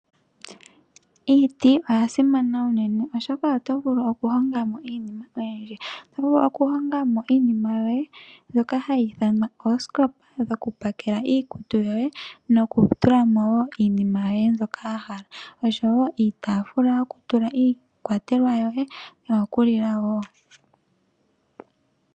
Iiti oyasimana unene oshoka oto vulu okuhonga mo iinima oyindji ,oto vulu okuhonga mo iinima yoye mbyoka hayi ithanwa oosikopa dhoku pakela iikutu yoye nokutula mo wo iinima yoye mbyoka wahala ,osho wo iitafula yokutula iikwatelwa yoye noyo kulila wo.